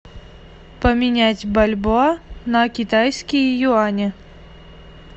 поменять бальбоа на китайские юани